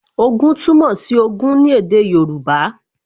Ogún túmọ̀ sí Ogún ní èdè Yorùbá